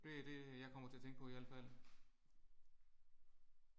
Det er det jeg kommer til at tænke på i al fald